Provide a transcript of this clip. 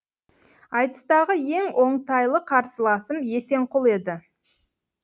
айтыстағы ең оңтайлы қарсыласым есенқұл еді